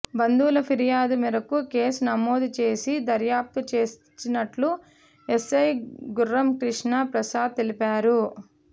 బంధువుల ఫిర్యాదు మేరకు కేసు నమోదు చేసి దర్యాప్తు చేస్తున్నట్టు ఎస్ఐ గుర్రం క్రిష్ణ ప్రసాద్ తెలిపారు